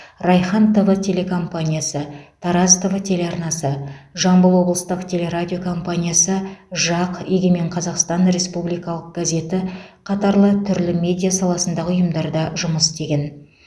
райхан тв телекомпаниясы тараз тв телеарнасы жамбыл облыстық телерадио компаниясы жақ егемен қазақстан республикалық газеті қатарлы түрлі медиа саласындағы ұйымдарда жұмыс істеген